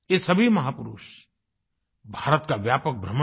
इन सभी महापुरुषों ने भारत का व्यापक भ्रमण किया